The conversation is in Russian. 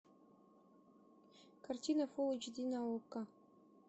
картина фул эйч ди на окко